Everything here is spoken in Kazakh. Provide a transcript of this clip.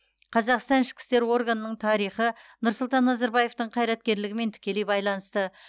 қазақстан ішкі істер органының тарихы нұрсұлтан назарбаевтың қайраткерлігімен тікелей байланысты